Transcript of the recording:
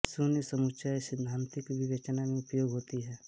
शून्य समुच्चय सैद्धांतिक विवेचन में उपयोगी होते हैं